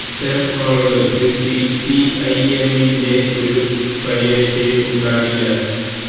ഇത്തരം ആളുകള്ക്ക് സിപിഐഎമ്മിന്റെ ഒരു പരിരക്ഷയും ഉണ്ടാകില്ല